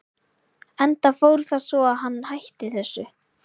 Enda fór það svo að hann hætti þessu.